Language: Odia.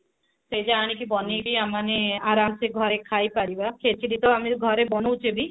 ସେଟା ଆଣିକି ବନେଇକି ଆମେମାନେ ଆରମ ସେ ଘରେ ଖାଇପାରିବା ଖେଚିଡି ତ ଆମେ ଘରେ ବାନଉଛେ ବି